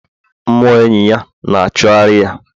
mmụọ enyi ya na-achụgharị ya